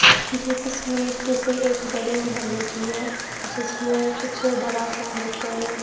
ये तस्वीर किसी एक गली महौल्ले की है जिसमें कुछ बड़ा सा लेकर--